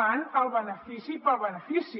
van al benefici pel benefici